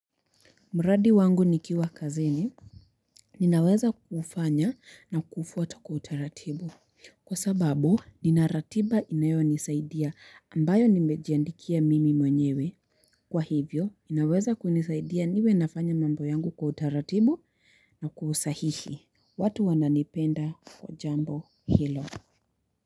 Mradi wangu nikiwa kazini, ninaweza kuufanya na kuufwata kwa utaratibu, kwa sababu, nina ratiba inayonisaidia ambayo nimejiandikia mimi mwenyewe, kwa hivyo, ninaweza kunisaidia niwe nafanya mambo yangu kwa utaratibu na kwa usahihi, watu wananipenda kwa jambo hilo.